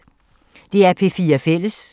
DR P4 Fælles